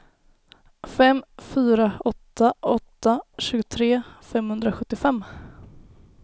fem fyra åtta åtta tjugotre femhundrasjuttiofem